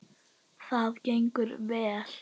Það gengur vel.